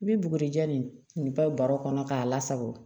I bɛ bugurijɛ nin papiye baro kɔnɔ k'a lasago